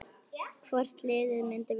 Hvort liðið myndi vinna?